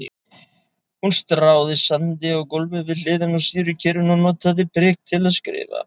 Hún stráði sandi á gólfið við hliðina á sýrukerinu og notaði prik til að skrifa.